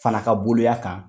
Fana ka boliya kan